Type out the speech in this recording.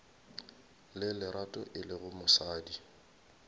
le lerato e lego mosadi